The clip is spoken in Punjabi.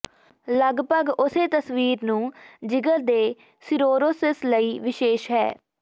ਲਗਪਗ ਉਸੇ ਤਸਵੀਰ ਨੂੰ ਜਿਗਰ ਦੇ ਸਿਰੋਰੋਸਿਸ ਲਈ ਵਿਸ਼ੇਸ਼ ਹੈ